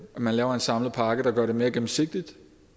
at man laver en samlet pakke der gør det mere gennemsigtigt og